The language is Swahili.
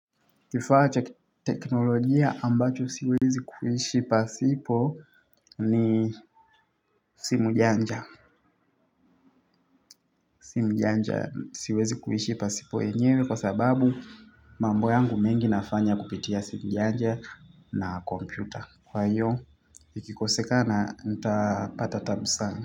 Kifaa cha kiteknolojia ambacho siwezi kuishi pasipo ni simu janja. Simu janja siwezi kuishi pasipo yenyewe kwa sababu mambo yangu mengi nafanya kupitia simu janja na kompyuta. Kwa hiyo ikikosekana ntapata taabu sana.